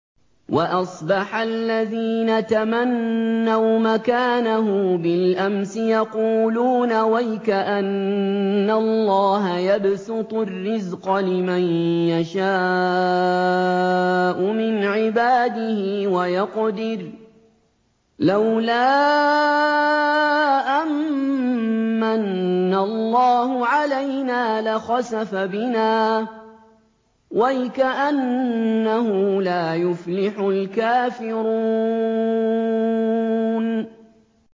وَأَصْبَحَ الَّذِينَ تَمَنَّوْا مَكَانَهُ بِالْأَمْسِ يَقُولُونَ وَيْكَأَنَّ اللَّهَ يَبْسُطُ الرِّزْقَ لِمَن يَشَاءُ مِنْ عِبَادِهِ وَيَقْدِرُ ۖ لَوْلَا أَن مَّنَّ اللَّهُ عَلَيْنَا لَخَسَفَ بِنَا ۖ وَيْكَأَنَّهُ لَا يُفْلِحُ الْكَافِرُونَ